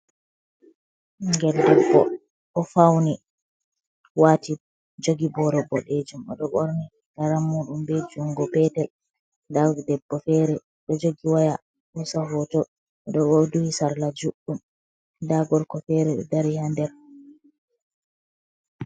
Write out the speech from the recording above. Ɓingel ɗebbo o fauni wati jogi boro bodejum o do ɓorni riga rammuɗum be jungo petel nda debbo fere do jogi waya hosa hoto oɗo duhi sarla juɗɗum nda gorko fere ɗo dari ha nder.